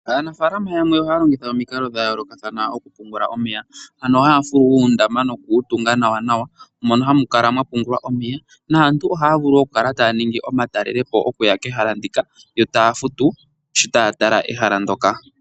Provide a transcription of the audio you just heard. Aanafaalama yamwe ohaya longitha omikalo dha yooloka oku pungula omeya. Ano haya fulu uundama noku wu tunga nawanawa, mono hamu kala mwa pungulwa omeya, naantu ohaya vulu oku kala taya ningi omatalelopo okuya kehala ndyoka yo taya futu sho taya tala ehala ndyoka.